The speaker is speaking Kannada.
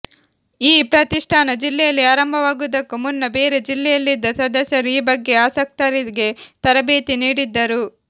ಈ ಪ್ರತಿಷ್ಠಾನ ಜಿಲ್ಲೆಯಲ್ಲಿ ಆರಂಭವಾಗುವುದಕ್ಕೂ ಮುನ್ನ ಬೇರೆ ಜಿಲ್ಲೆಯಲ್ಲಿದ್ದ ಸದಸ್ಯರು ಈ ಬಗ್ಗೆ ಆಸಕ್ತರಿಗೆ ತರಬೇತಿ ನೀಡಿದ್ದರು